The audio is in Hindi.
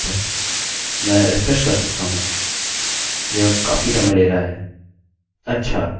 मैं रिफ्रेश कर सकता हूँ यह काफी समय ले रहा है अच्छा हमें यह मिला